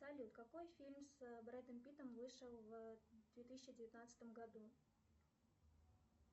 салют какой фильм с брэдом питтом вышел в две тысячи девятнадцатом году